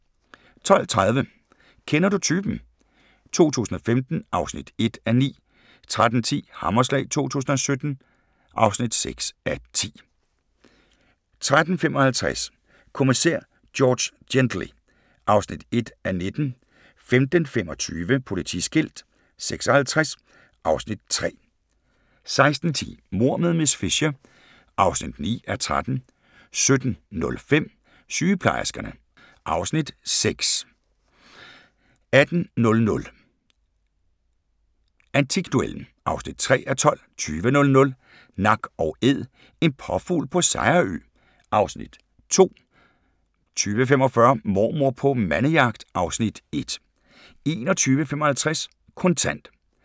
12:30: Kender du typen? 2015 (1:9) 13:10: Hammerslag 2017 (6:10) 13:55: Kommissær George Gently (1:19) 15:25: Politiskilt 56 (Afs. 3) 16:10: Mord med miss Fisher (9:13) 17:05: Sygeplejerskerne (Afs. 6) 18:00: Antikduellen (3:12) 20:00: Nak & Æd – en påfugl på Sejerø (Afs. 2) 20:45: Mormor på mandejagt (Afs. 1) 21:55: Kontant